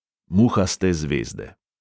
Muhaste zvezde.